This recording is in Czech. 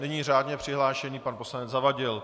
Nyní řádně přihlášený pan poslanec Zavadil.